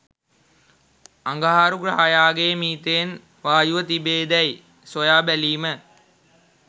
අඟහරු ග්‍රහයාගේ මීතේන් වායුව තිබේදැයි සොයා බැලීම